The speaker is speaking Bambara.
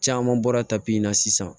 Caman bɔra tapi in na sisan